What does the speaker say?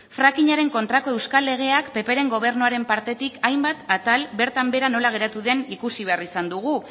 frakinaaren kontrako euskal legeak ppren gobernuaren partetik hainbat atal bertan behera nola geratu den ikusi behar izan dugu